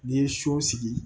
N'i ye so sigi